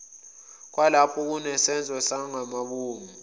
kwalapho kunesenzo sangamabomu